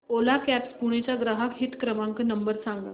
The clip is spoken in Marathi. ओला कॅब्झ पुणे चा ग्राहक हित क्रमांक नंबर सांगा